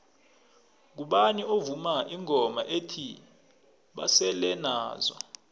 ngubani ovuma ingoma ethi basele nazo